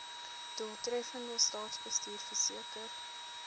doeltreffende staatsbestuur verseker